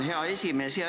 Hea esimees!